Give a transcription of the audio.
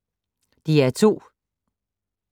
DR2